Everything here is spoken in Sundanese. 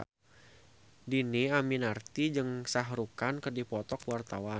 Dhini Aminarti jeung Shah Rukh Khan keur dipoto ku wartawan